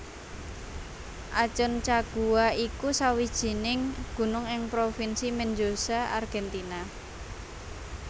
Aconcagua iku sawijining gunung ing Provinsi Mendoza Argentina